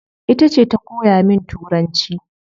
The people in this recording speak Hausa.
Itace ta koya min turanci